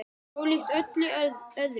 Ólíkt öllu öðru.